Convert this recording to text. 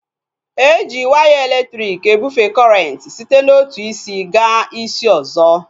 Eji waya elektriki ebufee kọrenti site n'otu isi gaa isi ọzọ